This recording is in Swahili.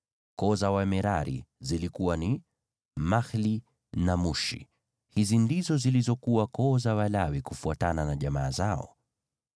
Koo za Wamerari zilikuwa ni: Mahli na Mushi. Hizi ndizo zilizokuwa koo za Walawi, kufuatana na jamaa zao.